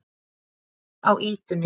Árni á ýtunni.